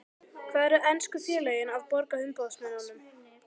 Hvað eru ensku félögin að borga umboðsmönnum?